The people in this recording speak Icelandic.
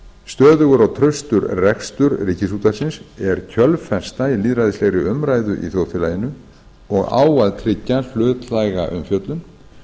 stöðugur og traustur rekstur þess er kjölfesta í lýðræðislegri umræðu í þjóðfélaginu og á að tryggja hlutlæga umfjöllun